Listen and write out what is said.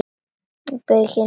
Bauginn sem skilur okkur að.